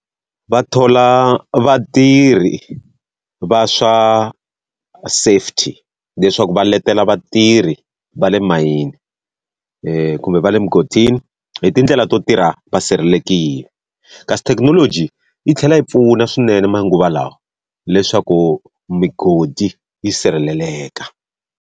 Va thola vatirhi va swa safety leswaku va letela vatirhi va le mayini kumbe va le mugodini, hi tindlela to tirha va sirhelelekile. Kasi thekinoloji yi tlhela yi pfuna swinene manguva lawa leswaku migodi yi sirheleleka.